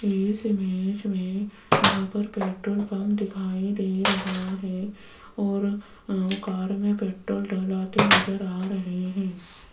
इस इमेज में यहां पर पेट्रोल पंप दिखाई दे रहा है और कार में पेट्रोल डलवाते नजर आ रहे हैं।